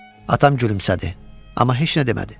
Atam gülümsədi, amma heç nə demədi.